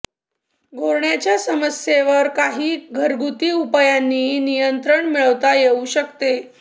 घोरण्याच्या समस्येवर काही घरगुती उपायांनीही नियंत्रण मिळवता येऊ शकते